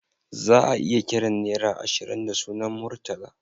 Za'a iya kiran nera ashirin da sunan Murtala